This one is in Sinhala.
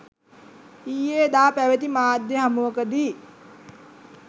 ඊයේදා පැවැති මාධ්‍ය හමුවකදී